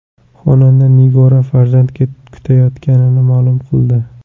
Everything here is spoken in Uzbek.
Xonanda Nigora farzand kutayotganini ma’lum qildi.